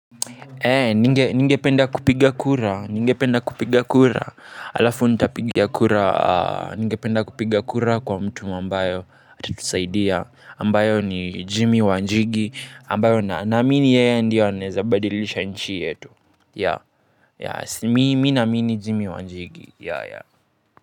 Ningependa kupiga kura, ningependa kupiga kura, alafu ntapigia kura ningependa kupiga kura kwa mtu ambayo atatusaidia, ambayo ni Jimmy Wanjigi, ambayo na naamini yeye ndiyo anaweza badilisha nchi yetu, Mi naamini Jimmy Wanjigi.